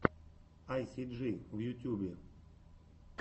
айсиджи в ютьюбе